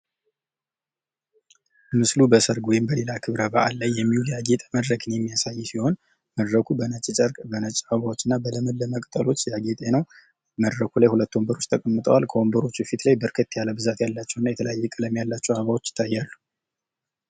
ምስሉ በሰርግ ወይም በሌላ ክብረ በዓል ላይ የሚውል ያጌጠ መድረክን የሚያሳይ ሲሆን መድረኩ በነጭ ጨርቅ በነጭ ፀጉር እና በለመለመ ቅጠሎች ያጌጠ ነው መድረኩ ላይ ሁለት ወንበሮች ተቀምጠዋል ከወንበሮቹ ፊት ላይ በርከት ያሉ ብዛት ያላቸው እና የተለያየ ቀለም ያላቸው አበባዎች ይታያሉ።